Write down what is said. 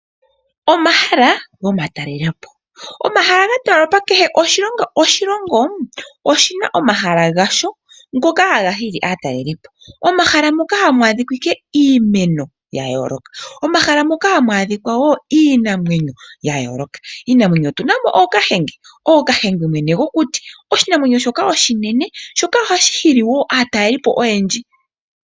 Omahala gomatalelepo. Kehe oshilongo oshina omahala gasho ngoka haga hili aatalelipo. Omahala muka hamu adhika iimeno ya yooloka . Omahala moka hamu adhika woo iinamwenyo ya yooloka. Iinamwenyo otunamo ookahenge ,ookahenge mwene gwokuti oshinamwenyo shoka oshinene hashi hili aatalelipo oyendji .